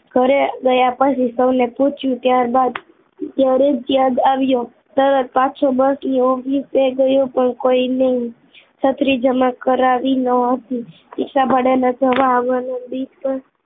ઘરે ગયા પછી સૌને પૂછ્યું ત્યારબા ત્યારે ત્યાં યાદ આવ્યું તરત જ પાછો બસ ઓફિસે ગયો પણ કોઈને છત્રી જમા કરાવી ન હતી રીક્ષા ભાડા ના જવા આવવાનુ ડિસ્ટન્સ